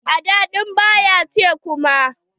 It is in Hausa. Aɗɗa ɗin ba ya ci kuma.